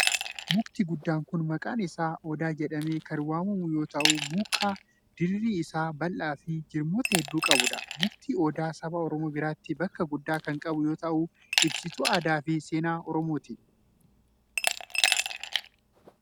Mukti guddaan kun maqaan isaa odaa jedhamee kan waamamu yoo ta'u, muka dirri isaa bal'aa fi jirmoota hedduu qabuu dha. Mukti odaa saba Oromoo biratti bakka guddaa kan qabu yoo ta'u, ibsituu aadaa fi seenaa oromooti.